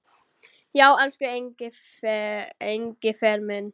Já, elsku Engifer minn.